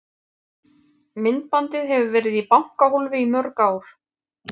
Myndbandið hefur verið í bankahólfi í mörg ár.